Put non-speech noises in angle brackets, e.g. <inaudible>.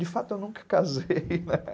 De fato, eu nunca casei, né? <laughs>